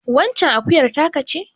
Waccen akuyar taka ce.